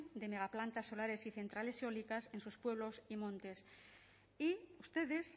de megaplantas solares y centrales eólicas en sus pueblos y montes y ustedes